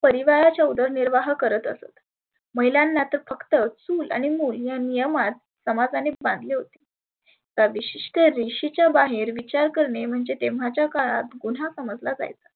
परिवाराची उदर निर्वाह करत असत. महिलांना तर फक्त चुल आणि मुल या नियमात समाजानी बांधले होते. विशिष्ठ रेषेच्या बाहेर विचार करणे म्हणजे तेव्हाच्या काळात गुन्हा समजला जायचा.